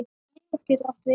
Limur getur átt við